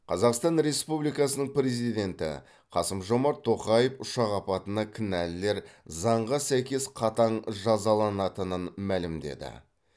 қазақстан республикасының президенті қасым жомарт тоқаев ұшақ апатына кінәлілер заңға сәйкес қатаң жазаланатынын мәлімдеді